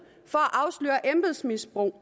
for at afsløre embedsmisbrug